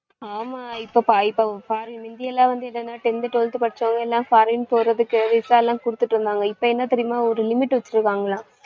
ஆமா இப்ப மிந்திலாம் வந்து என்னன்னா tenth twelfth படிச்சவங்க எல்லாம் foreign போறதுக்கு visa லாம் குடுத்துட்ருந்தாங்க. இப்ப என்ன தெரியுமா ஒரு limit வச்சிருக்காங்களாம்